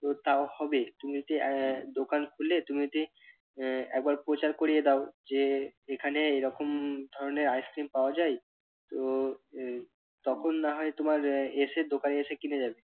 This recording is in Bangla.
তো তাও হবে। তুমি যদি আহ দোকান খুলে তুমি যদি আহ একবার প্রচার করিয়ে দাও যে এখানে এরকম ধরনের আইসক্রিম পাওয়া যায় তো আহ তখন না হয় তোমার এসে দোকানে এসে কিনে যাবে।